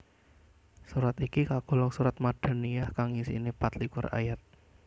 Surat iki kagolong surat Madaniyah kang isiné pat likur ayat